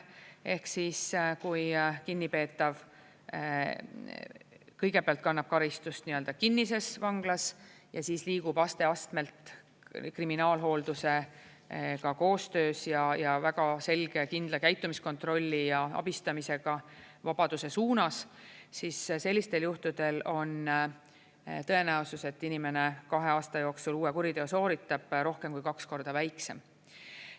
Ehk siis, kui kinnipeetav kõigepealt kannab karistust kinnises vanglas ja siis liigub aste-astmelt kriminaalhooldusega koostöös ja väga selge ja kindla käitumiskontrolli ja abistamisega vabaduse suunas, siis sellistel juhtudel on tõenäosus, et inimene kahe aasta jooksul uue kuriteo sooritab, rohkem kui kaks korda väiksem.